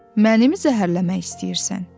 Məni zəhərləmək istəyirsən?